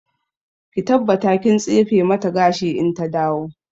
Ki tabbata kin tsefe mata gashi in ta dawo!